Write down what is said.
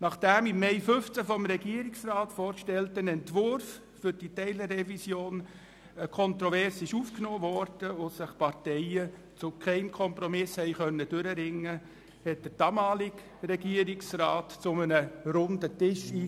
Nachdem der im Mai 2015 vom Regierungsrat vorgestellte Entwurf für die Teilrevision kontrovers aufgenommen worden war und sich die Parteien zu keinem Kompromiss durchringen konnten, lud der damalige Regierungsrat zu einem Runden Tisch ein.